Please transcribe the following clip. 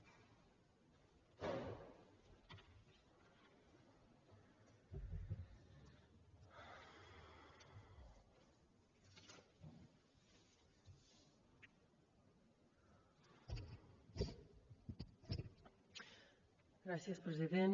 gràcies president